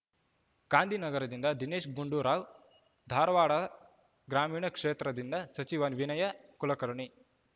ಗಾಂಧಿನಗರದಿಂದ ದಿನೇಶ್‌ ಗುಂಡೂರಾವ್‌ ಧಾರವಾಡ ಗ್ರಾಮೀಣ ಕ್ಷೇತ್ರದಿಂದ ಸಚಿವ ವಿನಯ ಕುಲಕರ್ಣಿ